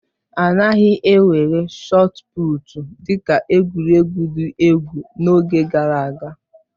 A naghị ewere shọọt pụụtu dị ka egwuregwu dị egwu n'oge gara aga